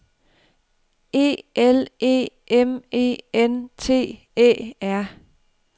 E L E M E N T Æ R